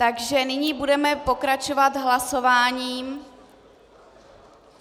Takže nyní budeme pokračovat hlasováním.